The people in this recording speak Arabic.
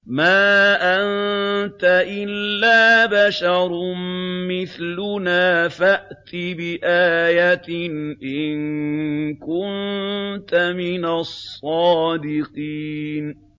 مَا أَنتَ إِلَّا بَشَرٌ مِّثْلُنَا فَأْتِ بِآيَةٍ إِن كُنتَ مِنَ الصَّادِقِينَ